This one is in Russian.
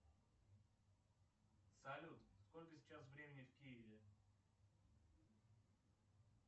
салют сколько сейчас времени в киеве